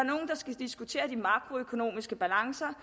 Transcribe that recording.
skal diskutere de makroøkonomiske balancer